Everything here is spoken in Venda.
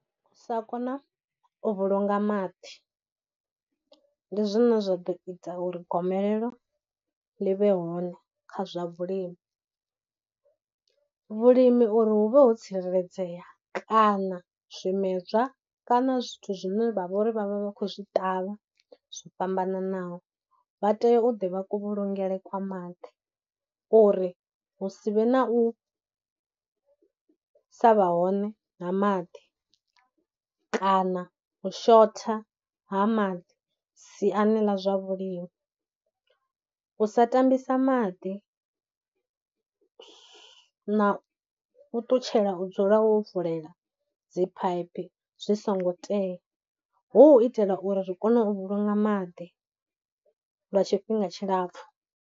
U sa kona u vhulunga maḓi ndi zwine zwa ḓo ita uri gomelelo ḽi vhe hone kha zwavhulimi. Vhulimi uri hu vhe ho tsireledzea kana zwimedzwa, kana zwithu zwine vha vha uri vha vha vha khou zwi ṱavha zwo fhambananaho, vha tea u ḓivha kuvhulungele kwa maḓi uri hu si vhe na u sa vha hone nga maḓi kana u shotha ha maḓi siani ḽa zwa vhulimi, u sa tambisa maḓi na u ṱutshela u dzula wo vulela dziphaiphi zwi songo tea hu u itela uri ri kone u vhulunga maḓi lwa tshifhinga tshilapfhu.